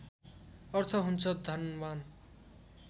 अर्थ हुन्छ धनवान्